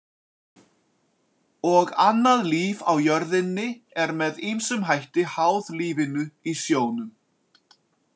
Og annað líf á jörðinni er með ýmsum hætti háð lífinu í sjónum.